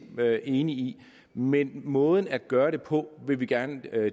enige i men måden at gøre det på vil vi gerne